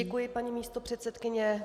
Děkuji, paní místopředsedkyně.